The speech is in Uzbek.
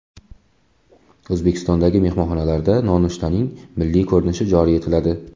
O‘zbekistondagi mehmonxonalarda nonushtaning milliy ko‘rinishi joriy etiladi.